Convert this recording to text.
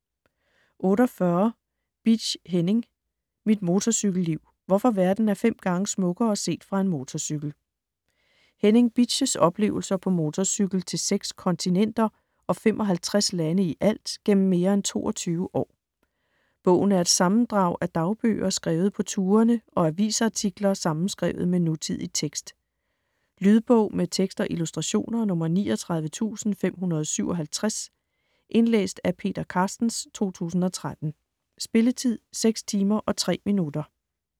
48 Bitsch, Henning: Mit motorcykelliv: hvorfor verden er fem gange smukkere set fra en motorcykel Henning Bitsch's oplevelser på motorcykel til seks kontinenter, og 55 lande ialt, gennem mere end 22 år. Bogen er et sammendrag af dagbøger skrevet på turene og avisartikler sammenskrevet med nutidig tekst. Lydbog med tekst og illustrationer 39557 Indlæst af Peter Carstens, 2013. Spilletid: 6 timer, 3 minutter.